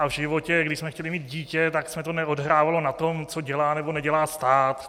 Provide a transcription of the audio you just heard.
A v životě, když jsme chtěli mít dítě, tak se to neodehrávalo na tom, co dělá, nebo nedělá stát.